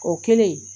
O kɛlen